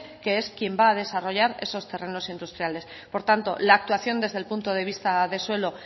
que es quien va a desarrollar esos terrenos industriales por tanto la actuación desde el punto de vista de suelo